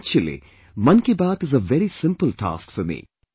Actually, Mann Ki Baat is a very simpletask for me